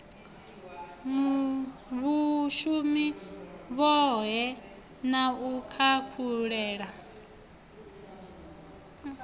vhshumi vhohe na u khakhulula